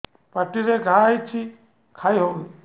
ପାଟିରେ ଘା ହେଇଛି ଖାଇ ହଉନି